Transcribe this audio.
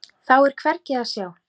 Þá er hvergi að sjá.